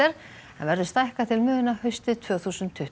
en verður stækkað til muna haustið tvö þúsund tuttugu